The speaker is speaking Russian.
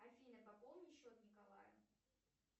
афина пополни счет николая